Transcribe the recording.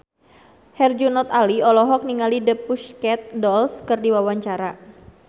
Herjunot Ali olohok ningali The Pussycat Dolls keur diwawancara